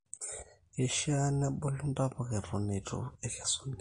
keishaa nebulu ntapuka eton eitu ekesuni